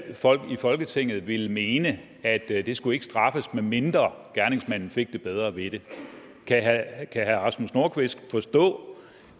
folketinget ville mene at det ikke skulle straffes medmindre gerningsmanden fik det bedre ved det kan herre rasmus nordqvist forstå